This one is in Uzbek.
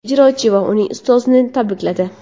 ijrochi va uning ustozini tabrikladi.